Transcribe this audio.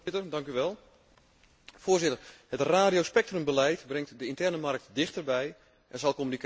Voorzitter, het radiospectrumbeleid brengt de interne markt dichterbij en zal communicatie gemakkelijker maken.